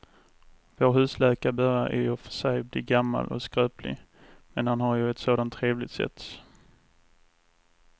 Vår husläkare börjar i och för sig bli gammal och skröplig, men han har ju ett sådant trevligt sätt!